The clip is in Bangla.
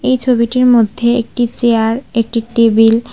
এই ছবিটির মধ্যে একটি চেয়ার একটি টেবিল --